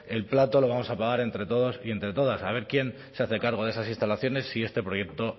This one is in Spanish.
el plato lo vamos a pagar entre todos y entre todas a ver quién se hace cargo de esas instalaciones si este proyecto